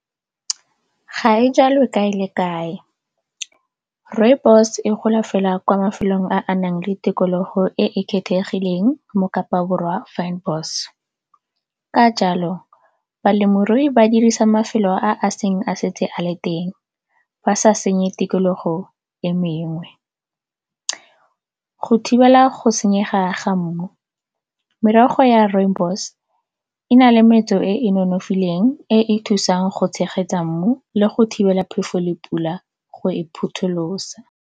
Ga e jalwe kae le kae, Rooibos e gola fela kwa mafelong a a nang le tikologo e e kgethegileng mo kapa Borwa . Ka jalo balemirui ba dirisa mafelo a a seng a setse a le teng, ba sa senye tikologo e mengwe. Go thibela go senyega ga mmu merogo ya Rooibos e na le metso e e nonofileng e e thusang go tshegetsa mmu le go thibela phefo le pula go e phutholosa.